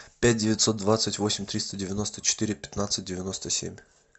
пять девятьсот двадцать восемь триста девяносто четыре пятнадцать девяносто семь